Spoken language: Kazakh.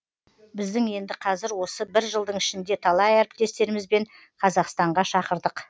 біздің енді қазір осы бір жылдың ішінде талай әріптестерімізбен қазақстанға шақырдық